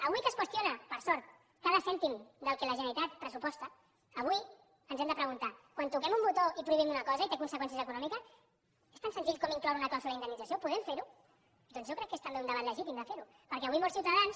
avui que es qüestiona per sort cada cèntim del que la generalitat pressuposta avui ens hem de preguntar quan toquem un botó i prohibim una cosa i té conseqüències econòmiques és tan senzill com incloure una clàusula d’indemnització podem fer ho doncs jo crec que és també un debat legítim de fer ho perquè avui molts ciutadans